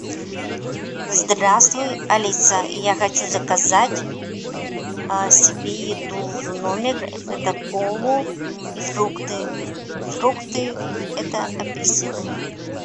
здравствуй алиса я хочу заказать себе еду в номер это колу и фрукты фрукты это апельсины